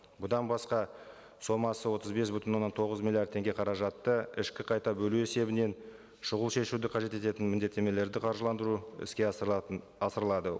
бұдан басқа сомасы отыз бес бүтін оннан тоғыз миллиард теңге қаражатты ішкі қайта бөлу есебінен шұғыл шешуді қажет ететін міндеттемелерді қаржыландыру іске асырылатын асырылады